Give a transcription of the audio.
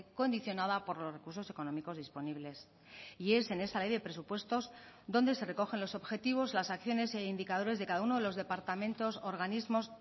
condicionada por los recursos económicos disponibles y es en esa ley de presupuestos donde se recogen los objetivos las acciones e indicadores de cada uno de los departamentos organismos